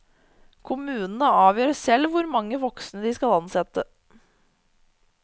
Kommunene avgjør selv hvor mange voksne de skal ansette.